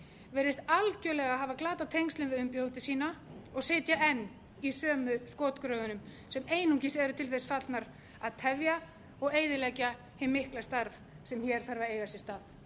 virðist algjörlega hafa glatað tengslum við umbjóðendur sína og sitja enn í sömu skotgröfunum sem einungis eru til þess fallnar að tefja og eyðileggja hið mikla starf sem hér þarf að eða sér stað